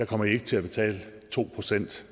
kommer de ikke til at betale to procent